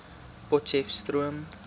potcheftsroom